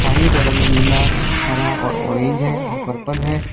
साड़ियों का रंग नीला हरा और औरेंज और पर्पल है।